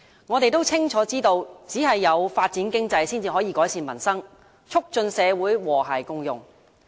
我們清楚知道，只有發展經濟，才能改善民生，促進社會和諧共融。